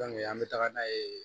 an bɛ taga n'a ye